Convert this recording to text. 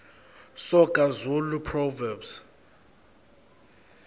soga zulu proverbs